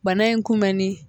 Bana in kunbɛnni